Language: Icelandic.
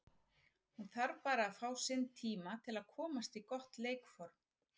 Hún þarf bara að fá sinn tíma til að komast í gott leikform.